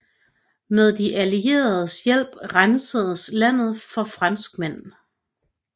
Med de allieredes hjælp rensedes landet for franskmænd